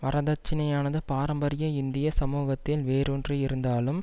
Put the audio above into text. வரதட்சினையானது பாரம்பரிய இந்திய சமூகத்தில் வேரூன்றி இருந்தாலும்